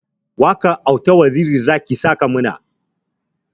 Waƙar auta waziri zaki saka mana